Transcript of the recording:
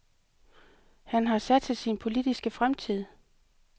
Han har satset sin politiske fremtid.